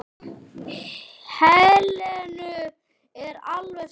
Helenu er alveg sama.